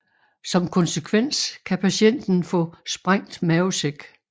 Som konsekvens kan patienten få sprængt mavesæk